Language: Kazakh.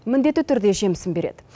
міндетті түрде жемісін береді